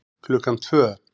Klukkan tvö